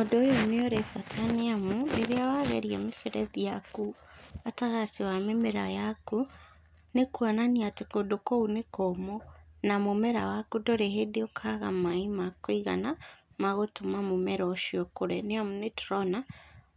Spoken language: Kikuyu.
Ũndũ ũyũ nĩ ũrĩ bata nĩ amu rĩrĩa wageria mĩberethi yaku gatagatĩ wa mĩmera yaku nĩ kuonania atĩ kũndũ kũu nĩ kũmũ na mũmera waku gũtirĩ hĩndĩ ũkaga maaĩ ma kũigana magũtũma mũmera ucio ũkũre nĩ amu nĩ tũrona